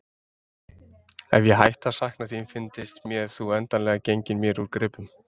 Ef ég hætti að sakna þín fyndist mér þú endanlega genginn mér úr greipum.